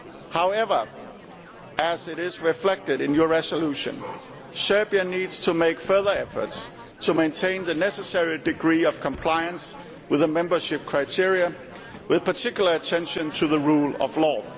However, as is reflected in your resolution, Serbia needs to make further efforts to maintain the necessary degree of compliance with the membership criteria, with particular attention to the rule of law.